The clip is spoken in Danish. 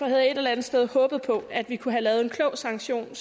jeg et eller andet sted håbet på at vi kunne have lavet en klog sanktion